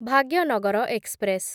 Bhagyanagar express